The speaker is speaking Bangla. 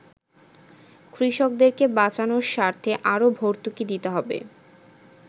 কৃষকদেরকে বাঁচানোর স্বার্থে আরও ভর্তুকি দিতে হবে।